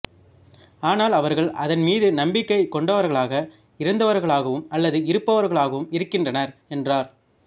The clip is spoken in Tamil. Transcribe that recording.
ஆனால் அவர்கள் அதன் மீது நம்பிக்கை கொண்டவர்களாக இருந்தவர்களாவும் அல்லது இருப்பவர்களாகவும் இருக்கின்றனர் என்றார்